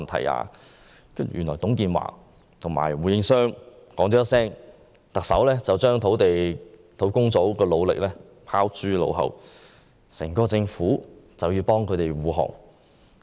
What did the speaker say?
原來只是因為董建華問了胡應湘一句話，特首便把專責小組的努力拋諸腦後，整個政府都要為他們護航。